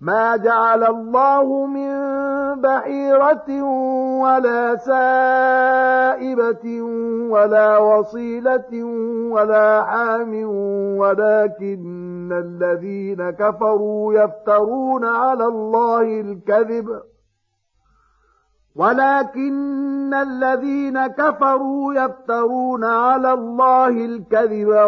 مَا جَعَلَ اللَّهُ مِن بَحِيرَةٍ وَلَا سَائِبَةٍ وَلَا وَصِيلَةٍ وَلَا حَامٍ ۙ وَلَٰكِنَّ الَّذِينَ كَفَرُوا يَفْتَرُونَ عَلَى اللَّهِ الْكَذِبَ ۖ